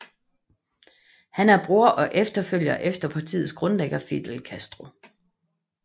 Han er bror og efterfølger efter partiets grundlægger Fidel Castro